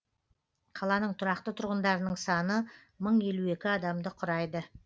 қаланың тұрақты тұрғындарының саны мың елу екі адамды құрайды